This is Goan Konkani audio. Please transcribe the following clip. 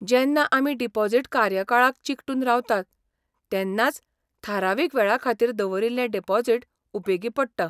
जेन्ना आमी डिपॉझिट कार्यकाळाक चिकटून रावतात तेन्नाच थारावीक वेळाखातीर दवरिल्लें डिपॉझिट उपेगी पडटा.